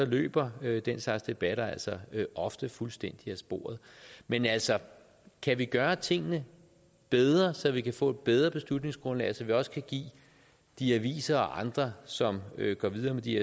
løber den slags debatter altså ofte fuldstændig af sporet man altså kan vi gøre tingene bedre så vi kan få et bedre beslutningsgrundlag og så vi også kan give de aviser og andre som går videre med de